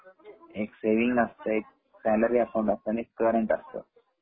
एक सेविंग एक सँलरी एक करंट असते.